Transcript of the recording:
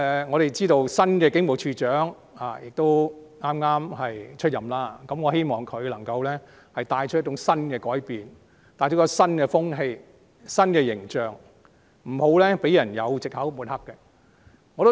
我知道新任警務處處長剛上任，希望他能夠帶來新改變、新風氣和新形象，不要讓人有藉口抹黑警隊。